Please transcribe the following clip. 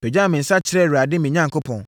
pagyaa me nsa kyerɛɛ Awurade, me Onyankopɔn.